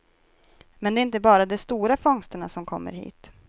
Men det är inte bara de stora fångsterna som kommer hit.